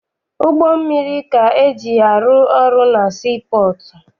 Ụgbọ mmiri ka eji arụ ọrụ na sii pọọtụ.